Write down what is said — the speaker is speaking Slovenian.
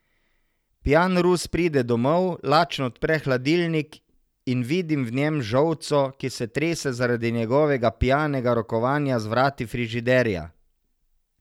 Pijan Rus pride domov, lačen odpre hladilnik in vidim v njem žolco, ki se trese zaradi njegovega pijanega rokovanja z vrati frižiderja.